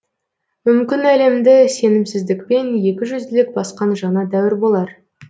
мүмкін әлемді сенімсіздікпен екі жүзділік басқан жаңа дәуір болар